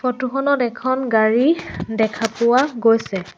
Photo খনত এখন গাড়ী দেখা পোৱা গৈছে।